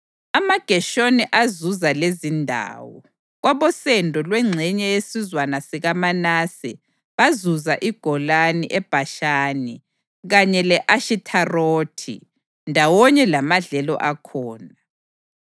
AmaGeshoni azuza lezindawo: Kwabosendo lwengxenye yesizwana sikaManase bazuza iGolani eBhashani kanye le-Ashitharothi, ndawonye lamadlelo akhona;